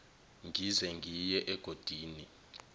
ngize ngiye egodini